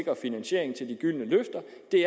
det